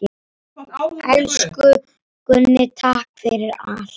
Elsku Gunni, takk fyrir allt.